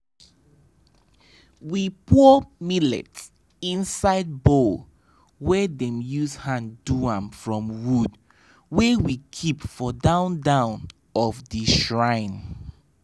we pour millet inside bowl wey dem use hand do am from wood wey we keep for down down of the shrine